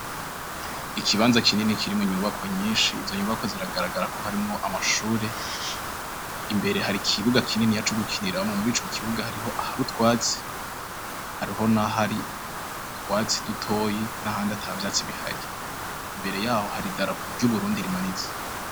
Ikibanza kinini kirimwo inyubakwa nyinshi, izo nyubakwa ziragaragara ko harimwo amashuri. Imbere har'ikibuga kininiya co gukiniramwo, murico kibuga hariho ahar'utwatsi hariho nahahri utwatsi dutoyi nahandi ata vyatsi bihari. Imbere yaho hari idarapo ry'Uburundi rimanitse.